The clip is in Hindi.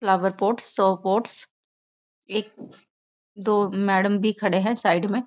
फ्लावर पॉट्स पॉट्स एक दो मैडम भी खड़े है साइड में।